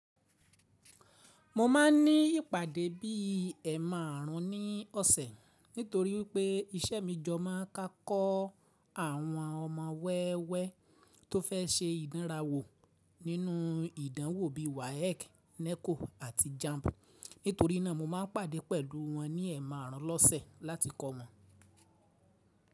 Mo ma n ní ìpàdé bí i ẹ márùn-ún ní ọ̀sẹ̀ nítorí pé iṣẹ́ mi jọ má a ka kọ́ àwọn ọmọ wẹ́wẹ́ tó fẹ́ se ìdánrawò nínú ìdánwò bí i WAEC, NECO àti JAMB. Nítorí náà mo má n pàdé pẹ̀lú wọn ní ẹ márùn ún lọ́sẹ̀ láti kọ́ wọn.